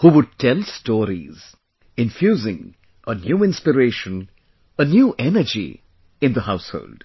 who would tell stories, infusing a new inspiration, a new energy in the household